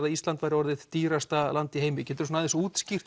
að Ísland sé orðið dýrasta land í heimi getur þú útskýrt